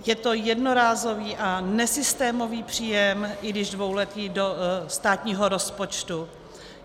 Je to jednorázový a nesystémový příjem, i když dvouletý, do státního rozpočtu.